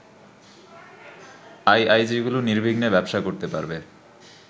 আইআইজিগুলো নির্বিঘ্নে ব্যবসা করতে পারবে